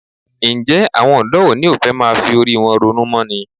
Ǹjẹ́ àwọn ọ̀dọ́ òní ò fẹ́ máa fi orí wọn ronú mọ́ ni?